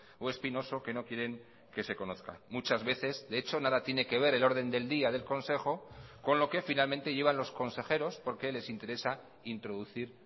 o espinoso que no quieren que se conozca muchas veces de hecho nada tiene que ver el orden del día del consejo con lo que finalmente llevan los consejeros porque les interesa introducir